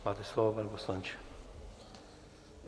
Máte slovo, pane poslanče.